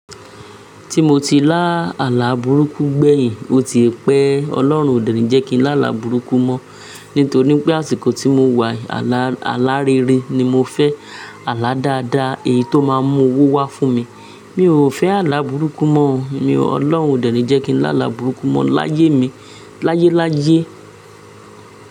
Tí mo ti lá àlà burúkú gbẹ̀yìn, o ti pẹ́, Ọlọ́run o dẹ̀ni jẹ́ kí n lá àlà burúkú mọ́, nítorí pé àsìkò tí mo wà, àlà rere ni mo fẹ́, àlà dáadáa, èyí tó máa mú owó wá fún mi. Mi ò fẹ́ àlà burúkú mọ́, ọlọ́run o dẹ̀ni jẹ́ kí n lá àlà burúkú mọ́ láyé mi, láyéláyé.